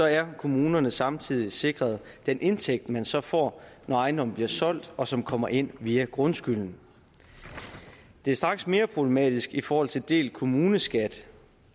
er kommunerne samtidig sikret den indtægt man så får når ejendommen bliver solgt og som kommer ind via grundskylden det er straks mere problematisk i forhold til delt kommuneskat